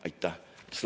Aitäh!